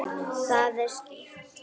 Það er skýrt.